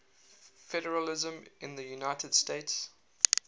federalism in the united states